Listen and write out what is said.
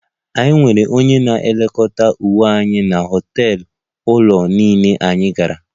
Anyị nwere onye na-elekọta onwe anyị na họtel ụlọ niile anyị gara